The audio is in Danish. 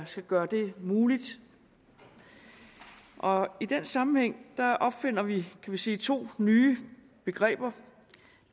skal gøre det muligt og i den sammenhæng opfinder vi kan vi sige to nye begreber